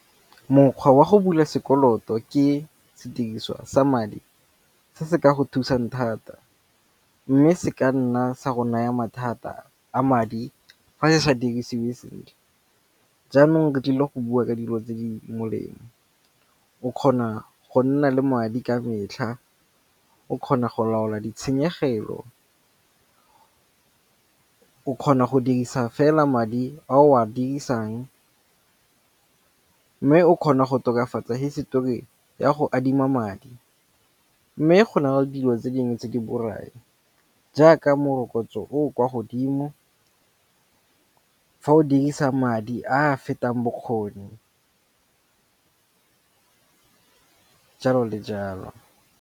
Mokgwa wa go bula sekoloto ke sediriswa sa madi se se ka go thusang thata. Mme se ka nna sa go naya mathata a madi fa e sa dirisiwe sentle. Jaanong ke tlile go bua ka dilo tse di molemo. O kgona go nna le madi ka metlha, o kgona go laola ditshenyegelo, o kgona go dirisa fela madi a o a dirisang mme o kgona go tokafatsa histori ya go adima madi. Mme go na le dilo tse dingwe tse di borai jaaka morokotso o o kwa godimo fa o dirisa madi a a fetang bokgoni jalo le jalo.